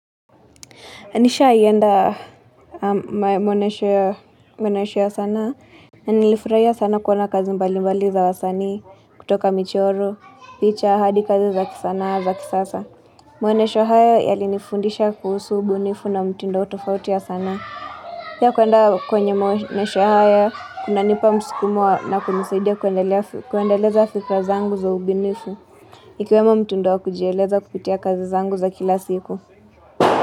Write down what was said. Nishaienda mwonesho ya sanaa. Nilifurahia sana kuona kazi mbali mbali za wasani, kutoka michoro, picha, hadi kazi za kisana, za kisasa. Maonesho haya yalinifundisha kuhusu ubunifu na mtindo tofauti ya sanaa Pia kuenda kwenye maonesho haya, kunanipa msukumo na kunisaidia kuendeleza fikra zangu za ubunifu. Ikiwemo mtindo wa kujieleza kupitia kazi zangu za kila siku.